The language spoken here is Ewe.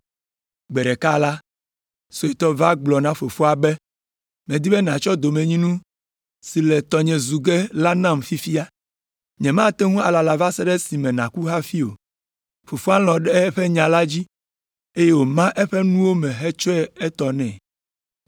Gbe ɖeka la, suetɔ va gblɔ na fofoa be, ‘Medi be nàtsɔ domenyinu si le tɔnye zu ge la nam fifia, nyemate ŋu alala va se ɖe esime nàku hafi o.’ Fofoa lɔ̃ ɖe eƒe nya la dzi, eye wòma eƒe nuwo me hetsɔ etɔ nɛ.